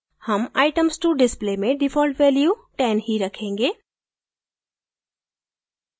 हम items to display में default value 10 ही रखेंगे